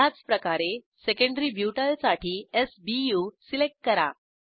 ह्याचप्रकारे secondary butyl साठी s B U select करा